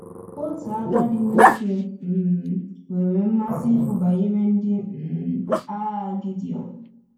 Otu agadi nwoke um nwere mmasị ikwu banyere ndị um agha Gidiọn.